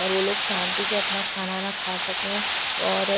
और वो लोग शांति से अपना खाना वाना खा सके और--